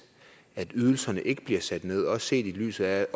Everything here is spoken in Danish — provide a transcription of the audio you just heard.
at ydelserne ikke bliver sat ned også set i lyset af